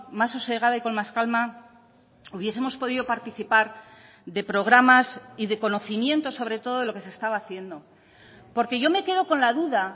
más sosegada y con más calma hubiesemos podido participar de programas y de conocimientos sobre todo lo que se estaba haciendo porque yo me quedo con la duda